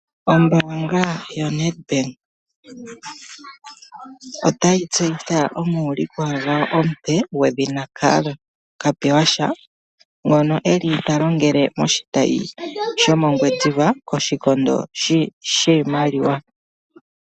Ombaanga yoNedBank otayi tseyitha omuulikwa gwawo omupe gwedhina Karl Kapewasha ngo eli ta longele moshitayi shomoNgwediva koshikondo shiimaliwa.